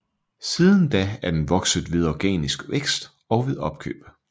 Siden da er den vokset ved organisk vækst og ved opkøb